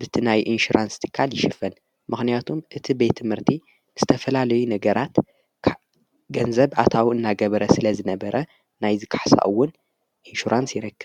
ብቲ ናይ ኢንሽራንስ ጢካል ይሽፍን ምኽንያቱም እቲ ቤት ምህርቲ ዝተፈላለዩ ነገራት ገንዘብ ኣታው እናገበረ ስለ ዝነበረ ናይ ዝከሕሳኡውን ኢንሽራንስ ይረከብ::